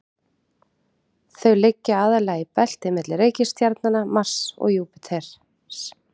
þau liggja aðallega í belti milli reikistjarnanna mars og júpíters